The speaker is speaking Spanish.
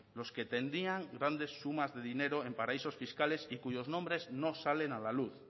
los que tenían grandes sumas de dinero en paraísos fiscales y cuyos nombres no salen a la luz